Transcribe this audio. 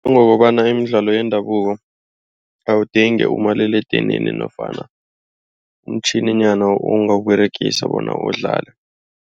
Ngokobana imidlalo yendabuko awudingi umaliledinini nofana umtjhininyana ongawuberegisa bona udlale.